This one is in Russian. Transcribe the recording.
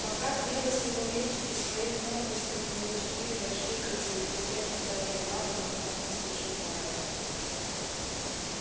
пока длилась его речь из своих нор выскользнули четыре большие крысы и присев на задние лапы внимательно слушали майера